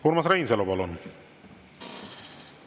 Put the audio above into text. Urmas Reinsalu, palun!